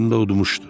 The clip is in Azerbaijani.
Oyunda udmuşdu.